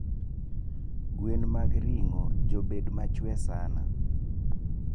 Gwen mag ringo jobedo machwee sana